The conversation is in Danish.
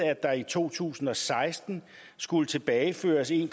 at der i to tusind og seksten skulle tilbageføres en